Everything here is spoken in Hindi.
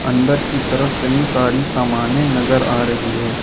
अंदर की तरफ कई सारी सामने नजर आ रही है।